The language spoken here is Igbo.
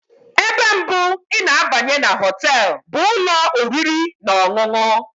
Ebe mbụ ị na-abanye na họtel bụ ụlọ oriri na ọṅụṅụ.